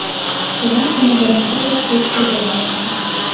Qizchalar uni birinchi bor ko‘rib turganini aytgan.